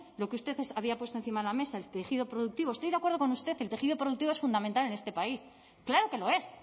lo que usted había puesto encima de la mesa el tejido productivo estoy de acuerdo con usted el tejido productivo es fundamental en este país claro que lo es